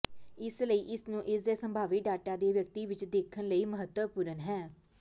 ਇਸ ਲਈ ਇਸ ਨੂੰ ਇਸ ਦੇ ਸੰਭਾਵੀ ਡਾਟਾ ਦੇ ਵਿਅਕਤੀ ਵਿੱਚ ਦੇਖਣ ਲਈ ਮਹੱਤਵਪੂਰਨ ਹੈ